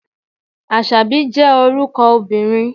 Àṣàbí jẹ́ orúkọ obìnrin.